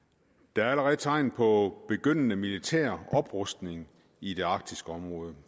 der er allerede tegn på begyndende militær oprustning i det arktiske område